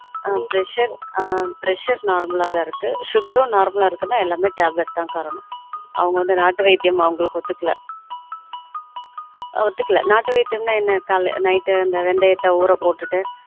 on pressure ஆன் presurenormal அ தான் இருக்குனா sugar உம் normal அ இருக்குனா எல்லாமே tablet தான் காரணம் அவங்க வந்து நாட்டு வைத்தியம் அவங்களுக்கு ஒத்து கல ஒத்து கல நாட்டு வைத்தியம் னா என்ன கால்ல night அந்த வெந்தயத்த ஊற போட்டுட்டு